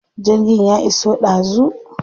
Jirgin ya iso ɗazu.